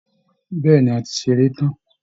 Bẹ́ẹ̀ ni, a ti ṣeré tán